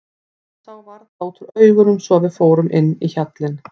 Það sá varla út úr augunum svo að við fórum inn í hjallinn.